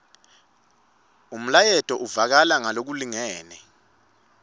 umlayeto uvakala ngalokulingene